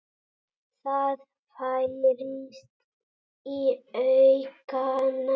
Það færist í aukana.